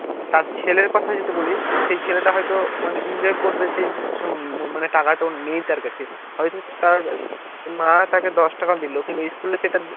তার ছেলের কথা যদি বলি তো সেই ছেলেটা হয়তো মানে enjoy করবে সেই সেই টাকা তো নেই তার কাছে হয়তো তার মা তাকে দশটাকা দিলো কিন্তু school এ সেটা তো